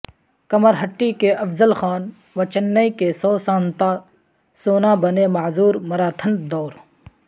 کمرہٹی کے افضل خان و چنئی کے سو سانتا سونا بنے معذور مراتھن دوڑ